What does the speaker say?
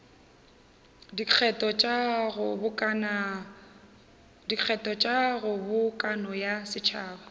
dikgetho tša kgobokano ya setšhaba